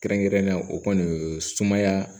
Kɛrɛnkɛrɛnnenya o kɔni sumaya